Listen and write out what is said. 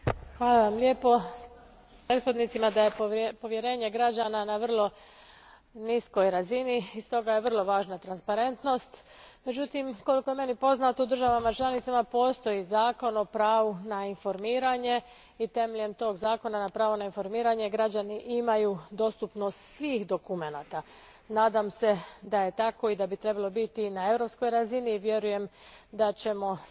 Gospodine predsjedniče, povjerenje građana je na vrlo niskoj razini i stoga je vrlo važna transparentnost. Međutim, koliko je meni poznato u državama članicama postoji zakon o pravu na informiranje i temeljem tog zakona o pravu na informiranje građani imaju dostupnost svih dokumenata. Nadam se da je tako i da bi trebalo biti i na europskoj razini i vjerujem da ćemo sve više